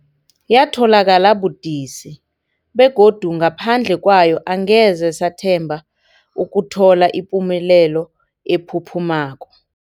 Yatholakala budisi, begodu ngaphandle kwayo angeze sathemba ukuthola ipumelelo ephuphumako.